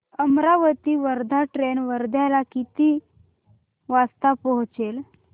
Amravati Wardha train वर्ध्याला किती वाजता पोहचेल